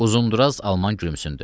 Uzundraz alman gülümsündü.